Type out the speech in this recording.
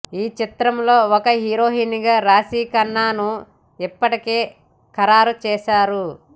ఈ చిత్రంలో ఒక హీరోయిన్గా రాశీఖన్నాను ఇప్పటికే ఖరారు చేశారు